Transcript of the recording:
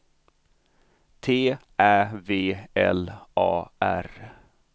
T Ä V L A R